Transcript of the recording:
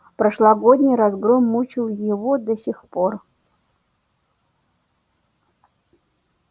прошлогодний разгром мучил его до сих пор